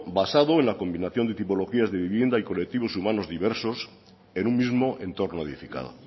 basado en la combinación de tipologías de viviendas y colectivos humanos diversos en un mismo entorno edificado